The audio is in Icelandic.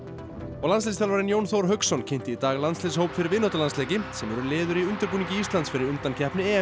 og landsliðsþjálfarinn Jón Þór Hauksson kynnti í dag landsliðshóp fyrir vináttulandsleiki sem eru liður í undirbúningi Íslands fyrir undankeppni